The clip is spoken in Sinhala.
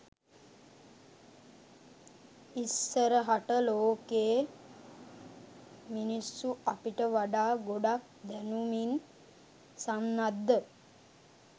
ඉස්සරහට ලෝකේ මිනිස්සු අපිට වඩා ගොඩක් දැනුමින් සන්නද්ධ